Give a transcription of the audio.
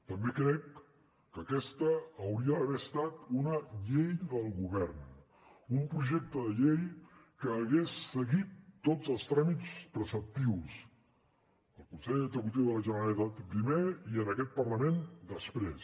també crec que aquesta hauria d’haver estat una llei del govern un projecte de llei que hagués seguit tots els tràmits preceptius al consell executiu de la generalitat primer i en aquest parlament després